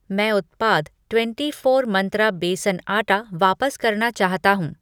मैं उत्पाद twenty four Mantra बेसन आटा वापस करना चाहता हूँ।